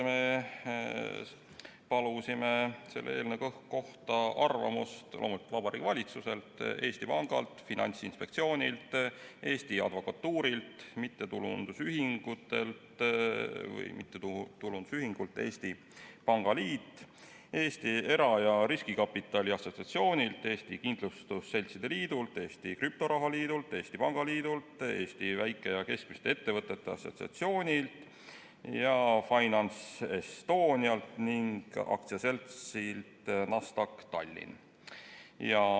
Me palusime selle eelnõu kohta arvamust loomulikult Vabariigi Valitsuselt, Eesti Pangalt, Finantsinspektsioonilt, Eesti Advokatuurilt, Eesti Pangaliidult, Eesti Era- ja Riskikapitali Assotsiatsioonilt, Eesti Kindlustusseltside Liidult, Eesti Krüptoraha Liidult, Eesti Väike- ja Keskmiste Ettevõtjate Assotsiatsioonilt ja FinanceEstonialt ning AS-ilt Nasdaq Tallinn.